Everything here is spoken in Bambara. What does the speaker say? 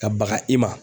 Ka baga i ma